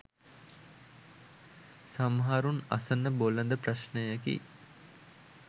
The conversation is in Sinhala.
සමහරුන් අසන බොළඳ ප්‍රශ්නයකි.